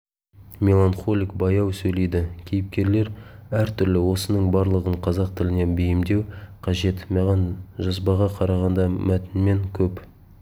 мелахнолик баяу сөйлейді кейіпкерлер әртүрлі осының барлығын қазақ тіліне бейімдеу қажет маған жазбаға қарағанда мәтінмен көп